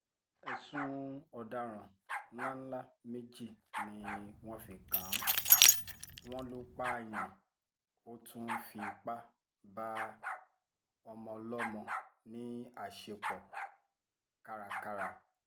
ẹ̀sùn ọ̀daràn ńlá ńlá méjì ni wọ́n fi kàn án wọ́n lọ pààyàn ó tún fipá bá ọmọọlọ́mọ láṣepọ̀ kárakára